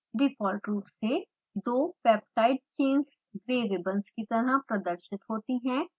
default रूप से दो peptide chains ग्रे रिबंस की तरह प्रदर्शित होती हैं